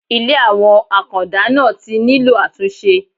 Ilé àwọn Àkàndá náà tí nílò àtúnṣe.